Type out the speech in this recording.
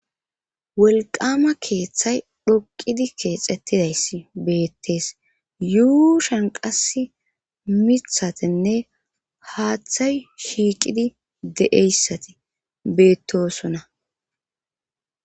wolqqaama keethay dhoqqidi keexettidayssi beetes yuushan qassi mithathinne haathay shiiqidi de7eyssati beettoosona.